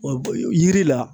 Yiri la